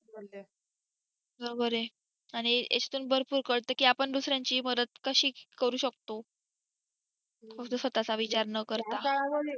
बरोबर आहे आणि ह्याच्यातून भरपूर कळत की आपण दुसर्‍यांचीही मदत कशी करू शकतो फक्त स्वतचा विचार न करता